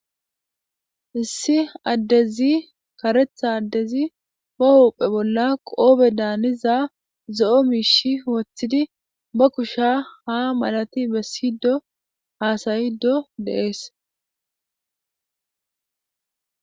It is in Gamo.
issi addezi karetha addezi ba hupphe bolla qoobe daaniza zo7o miishi woththidi ba kusha ha malati bessido haasayido deees